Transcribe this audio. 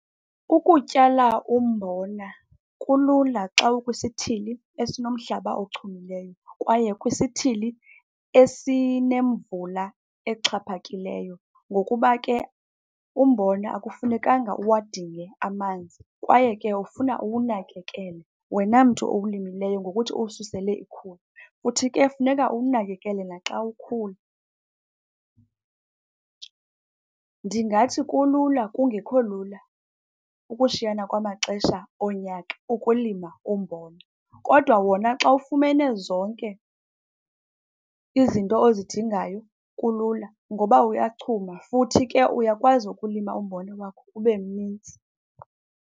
Ukutyala umbona kulula xa ukwisithili esinomhlaba ochumileyo kwaye kwisithili esinemvula exhaphakileyo ngokuba ke umbona akufunekanga uwadinge amanzi, kwaye ke ufuna uwunakekele wena mntu uwulimileyo ngokuthi uwususele ikhula. Futhi ke kufuneka uwunakekele naxa ukhula. Ndingathi kulula kungekho lula ukushiyana kwamaxesha onyaka ukulima umbona, kodwa wona xa ufumene zonke izinto ozidingayo kulula ngoba uyachuma, futhi ke uyakwazi ukulima umbona wakho ube mninzi.